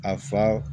A fa